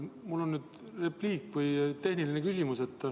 Mul on repliik või tehniline küsimus.